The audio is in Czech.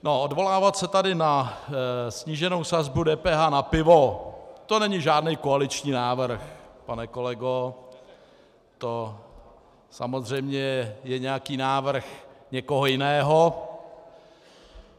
Odvolávat se tady na sníženou sazbu DPH na pivo - to není žádný koaliční návrh, pane kolego, to samozřejmě je nějaký návrh někoho jiného.